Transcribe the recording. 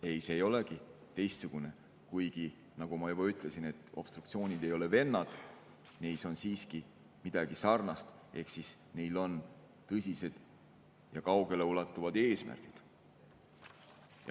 Ei, see ei olegi teistsugune, kuigi, nagu ma juba ütlesin, obstruktsioonid ei ole vennad, neis on siiski midagi sarnast, ehk siis neil on tõsised ja kaugeleulatuvad eesmärgid.